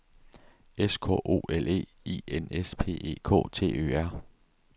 S K O L E I N S P E K T Ø R